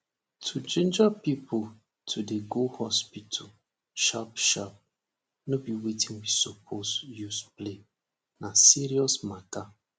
to ginger pipo to dey go hospital sharp sharp nor be wetin we supose use play na serious matter